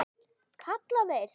kalla þeir.